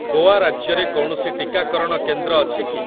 ଗୋଆ ରାଜ୍ୟରେ କୌଣସି ଟିକାକରଣ କେନ୍ଦ୍ର ଅଛି କି?